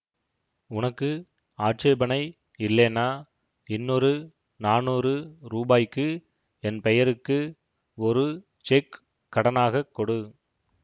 உனக்கு ஆட்சேபணை இல்லேன்னா இன்னொரு நானூறு ரூபாய்க்கு என் பெயருக்கு ஒரு செக் கடனாக கொடு